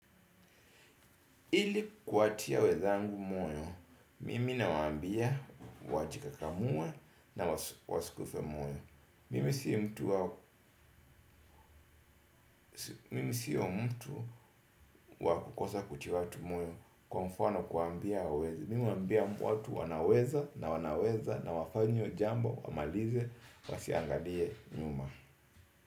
Ili kuwatia wezangu moyo, mimi nawaambia wajikakamue na wasikufe moyo mimi si mtu. Mimi siyo mtu wa kukosa kuchi watu moyo kwa mfano kuwaambia hawawezi. Mimi uambia watu wanaweza na wanaweza na wafanye jambo wamalize wasiangalie nyuma.